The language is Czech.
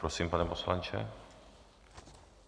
Prosím, pane poslanče.